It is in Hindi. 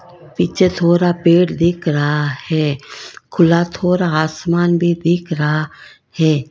पीछे थोड़ा पेड दिख रहा है खुला थोड़ा आसमान भी दिख रहा है।